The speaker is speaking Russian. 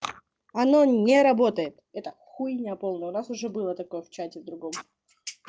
оно не работает эта хуйня полная у нас уже было такое в чате с другом